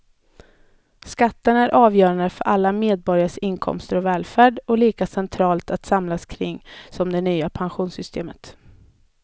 Skatten är avgörande för alla medborgares inkomster och välfärd och lika centralt att samlas kring som det nya pensionssystemet.